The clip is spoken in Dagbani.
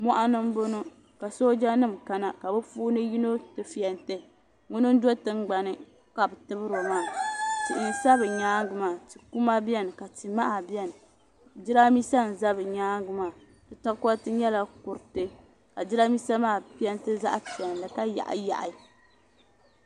Moɣani n boŋɔ ka sooja nima kana ka bi puuni yino ti fenti ŋuna n do tingbani ka bɛ tibiri o maa tihi sa bɛ nyaanga maa ti'kuma biɛni ka ti'maha biɛni jirambisa n za bɛ nyaanga maa di tokoriti nyɛla kuritika ka jirambisa maa penti zaɣa piɛlli.